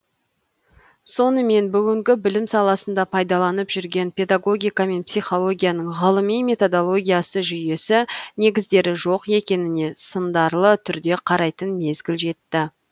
сонымен бүгінгі білім саласында пайдаланып жүрген педагогика мен психологияның ғылыми методологиясы жүйесі негіздері жоқ екеніне сындарлы түрде қарайтын мезгіл жетті